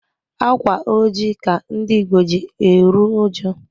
Ákwà ojii ka ndị Ìgbo ji eru uju.